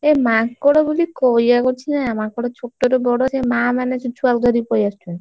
ଏଇ ମାଙ୍କଡ ବୋଲି କହିଆକୁ ଅଛି ନା ମାଙ୍କଡ ଛୋଟ ରୁ ବଡ ଯାଏ ମା ମାନେ, ସେ ଛୁଆ କୁ ଧରିକି ପଳେଇଆସୁଛନ୍ତି।